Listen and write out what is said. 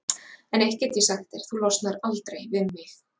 En eitt get ég sagt þér: Þú losnar aldrei við mig.